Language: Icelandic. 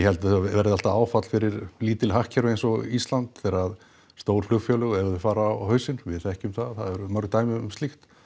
held að það verði alltaf áfall fyrir lítil hagkerfi eins og Ísland þegar stór flugfélög ef þau fara á hausinn við þekkjum það það eru mörg dæmi um slíkt